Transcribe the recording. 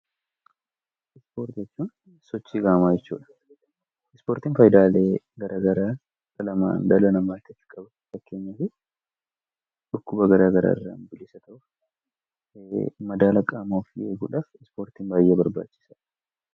Ispoortii jechuun sochii qaamaa jechuu dha. Ispoortiin sochii qaamaa garaa garaa dhala namaaf dhukkuba garaa garaa irraa bilisa ta'uuf, madaala qaama ofii eeguudhaaf ispoortiin baayyee barbaachisaa dha.